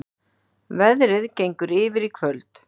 Veðrið gengur yfir í kvöld